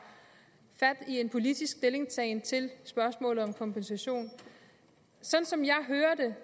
fat i en politisk stillingtagen til spørgsmålet om kompensation sådan som jeg hører det